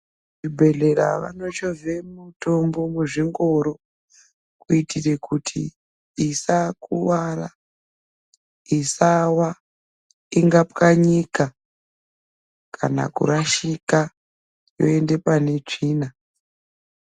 Kuzvibhedhlera vanochovhe mutombo muzvingoro. Kuitire kuti isakuvara, isava ingapwanyika kana kurashika yoende panetsvina.